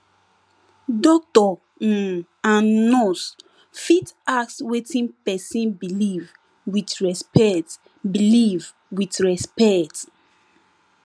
doctor um and nurse fit ask wetin pesin believe with respect believe with respect